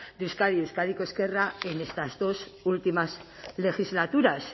de euskadi euskadiko ezkerra en estas dos últimas legislaturas